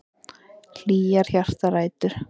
Hlýjar hjartarætur.